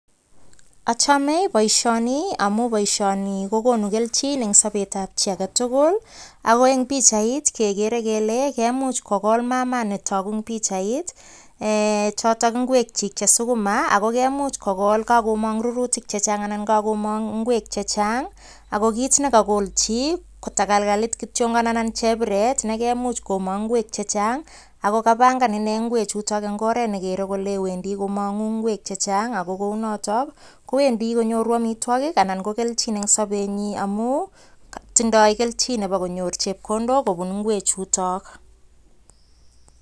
Achame boishoni amu boishoni kokonu keljin eng sobet ab chi agetugul ako eng pikchait kegere kele kemuche kokol mamas nitoku eng pikchait choto ngwek chi che sukuma akemuch kokol kakomong' rurutik chechang' anan kakomong' ngwek chechang' ako kit nekakolchi ko tegelkelit kityongon anan chepiret nekemuch komong' ngwek chechang' akokapangan ine ngwechu eng oret netoku kole Wendi komong'u ngwek chechang ako kou noto kowendi konyoru omitwokik anan ko keljin eng sobenyi amu tindoi keljin nebo konyor chepkondok kobun ngwe chuto